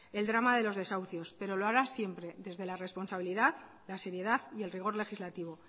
el drama de los desahucios pero lo hará siempre desde la responsabilidad la seriedad y el rigor legislativo